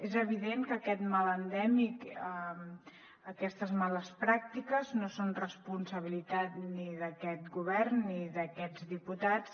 és evident que aquest mal endèmic aquestes males pràctiques no són responsabilitat ni d’aquest govern ni d’aquests diputats